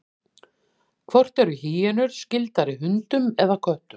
hvort eru hýenur skyldari hundum eða köttum